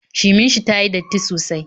Shimin shi tayi datti sosai